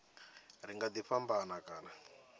ri nga ḓi fhambana kha